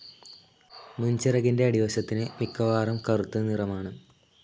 മുൻചിറകിൻ്റെ അടിവശത്തിന് മിക്കവാറും കറുത്തനിറമാണ്.